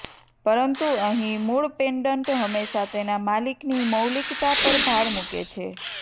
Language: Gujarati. પરંતુ અહીં મૂળ પેન્ડન્ટ હંમેશા તેના માલિકની મૌલિક્તા પર ભાર મૂકે છે